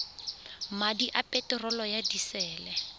madi a peterolo ya disele